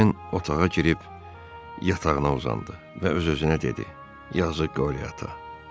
Ejen otağa girib yatağına uzandı və öz-özünə dedi: Yazıq Qori ata.